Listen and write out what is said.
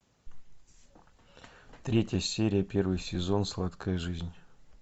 третья серия первый сезон сладкая жизнь